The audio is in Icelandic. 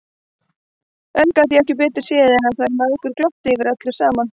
En ég gat ekki betur séð en að þær mæðgur glottu yfir öllu saman!